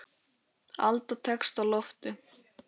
Alda tekst á loft.